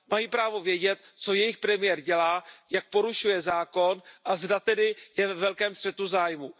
Mají právo vědět, co jejich premiér dělá, jak porušuje zákon a zda tedy je ve velkém střetu zájmů.